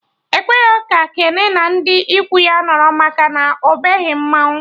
Ekwerọ ka Kene na ndị ikwu ya nọrọ maka na ọ baghị mmanwụ